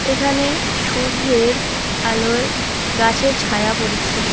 এখানে সূর্যের আলোয় গাছের ছায়া পড়েছে।